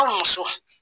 Aw muso